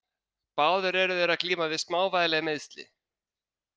Báðir eru þeir að glíma við smávægileg meiðsli.